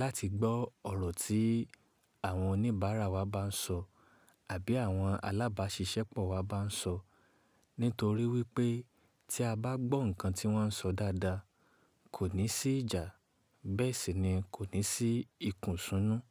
láti gbọ́ ọ̀rọ̀ tí àwọn oníbàárà wa bá ń sọ àbí àwọn alábáṣiṣẹ́pọ̀ wa bá ń sọ nítorí wípé tí a bá gbọ́ nǹkan tí wọ́n ń sọ dáadáa kò ní sí ìjà, bẹ́ẹ̀ sì ni kò ní sí ìkùnsúnú.